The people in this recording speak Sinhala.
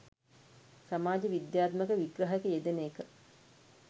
සමාජ විද්‍යාත්මක විග්‍රහයක යෙදෙන එක